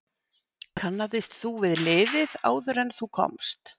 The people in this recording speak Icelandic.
Kannaðist þú við liðið áður en þú komst?